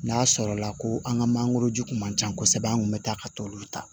N'a sɔrɔla ko an ka mangoro ji kun man ca kosɛbɛ an kun bɛ taa ka t'olu ta